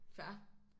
Fair